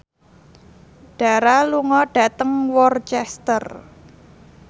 Dara lunga dhateng Worcester